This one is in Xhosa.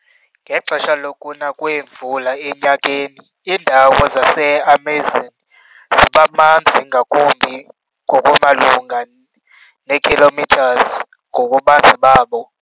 Ngexesha lokuna kweemvula enyakeni, indawo zaseAmazon zibamanzi ngakumbi ngokumalunga nekm ngobubanzi babo.